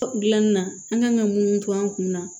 Gilanni na an kan ka mun to an kunna